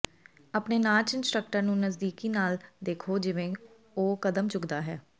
ਆਪਣੇ ਨਾਚ ਇੰਸਟ੍ਰਕਟਰ ਨੂੰ ਨਜ਼ਦੀਕੀ ਨਾਲ ਦੇਖੋ ਜਿਵੇਂ ਉਹ ਕਦਮ ਚੁੱਕਦਾ ਹੈ